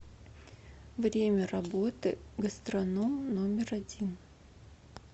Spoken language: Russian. время работы гастроном номер один